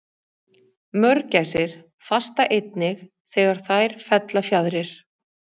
Mörgæsir fasta einnig þegar þær fella fjaðrir.